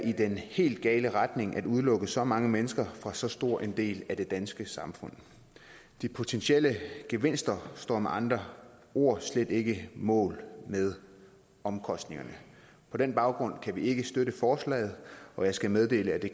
i den helt gale retning at udelukke så mange mennesker fra så stor en del af det danske samfund de potentielle gevinster står med andre ord slet ikke mål med omkostningerne på den baggrund kan vi ikke støtte forslaget og jeg skal meddele at det